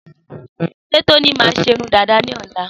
Sé Tóní má ṣe irun dàdá ní ọ̀la